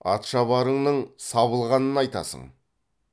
атшабарыңның сабылғанын айтасың